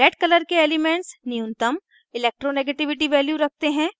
red color के elements न्यूनतम electronegativity values रखते हैं